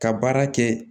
Ka baara kɛ